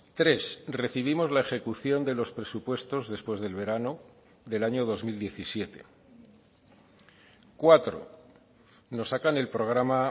tres recibimos la ejecución de los presupuestos después del verano del año dos mil diecisiete cuatro nos sacan el programa